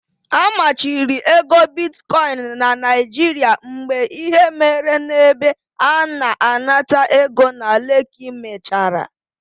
A machiri ego bitkoin na Naijiria mgbe ihe mere n'ebe a na-anata ego na Leki mechara.